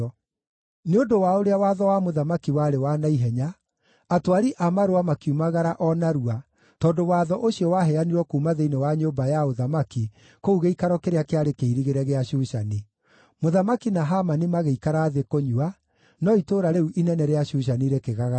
Nĩ ũndũ wa ũrĩa watho wa mũthamaki warĩ wa na ihenya, atwari a marũa makiumagara o narua tondũ watho ũcio waheanirwo kuuma thĩinĩ wa nyũmba ya ũthamaki kũu gĩikaro kĩrĩa kĩarĩ kĩirigĩre gĩa Shushani. Mũthamaki na Hamani magĩikara thĩ kũnyua, no itũũra rĩu inene rĩa Shushani rĩkĩgagaya mũno.